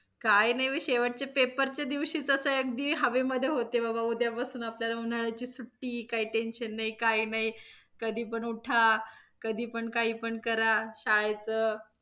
काही नाही मी शेवटच्या पेपरच्या दिवशी तर असं अगदी हवेमध्ये होते बाबा उद्यापासून आपल्याला उन्हाळ्याची सुट्टी काही tension काही नाही, कधी पण उठा, कधी पण काही पण करा, शाळेचं,